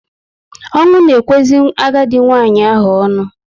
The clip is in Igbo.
Ọnwụ na ekwezi agadi nwanyị ahụ onu